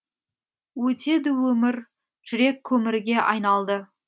өтеді өмір жүрек көмірге айналды